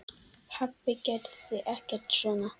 Pabbi gerði ekkert svona.